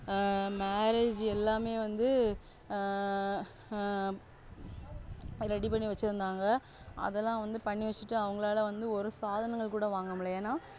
ஆ Marriage எல்லாமே வந்து ஆ Ready பண்ணி வெச்சிருந்தாங்க அதெல்ல வந்து பண்ணிவேஷ்டு அவங்களால வந்து ஒரு சாதனங்கள்குட முடில என,